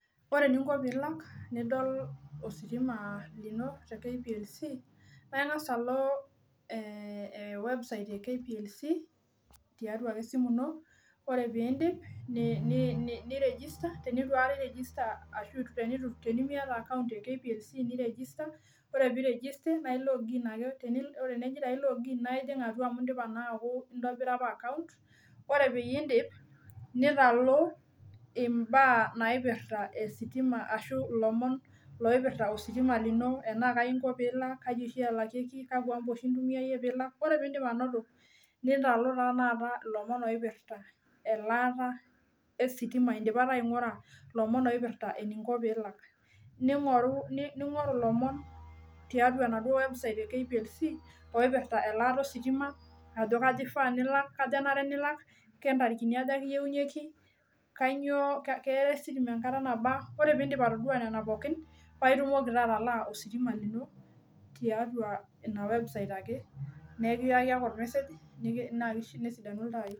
Ore eninko pilak nidol ositima lino te kplc naingasa alo ewebsite e kplc nidumu ake esimu ino ore pidip ni register naijing atua amu indipa apa aaku iata akount ore pindip ningoru mbaa naipirta ositima lomon loipirta ositima kakwa amba intumia alakie ore pindip ainoto lomon oipirta eninko pilak ningoru lomon tiatua enaduo website e kplc aja kanyio ifaa pilak kaja enare pilak keya ositima enkata nabaaa ore pidip atasuo nona pookin nitumoki atalaa na nesidanu ltai